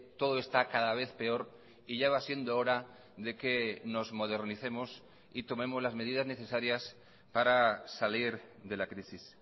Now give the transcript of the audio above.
todo está cada vez peor y ya va siendo hora de que nos modernicemos y tomemos las medidas necesarias para salir de la crisis